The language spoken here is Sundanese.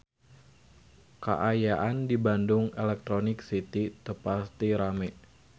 Kaayaan di Bandung Electronic City teu pati rame